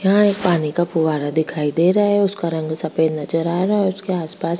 यहाँ एक पानी का पुवारा दिखाई दे रहा है उसका रंग सफेद नजर आ रहा है उसके आसपास --